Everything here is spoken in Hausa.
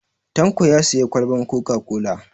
Tanko ya sayi kwalban coca-cola.